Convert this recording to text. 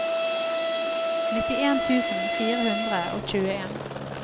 nittien tusen fire hundre og tjueen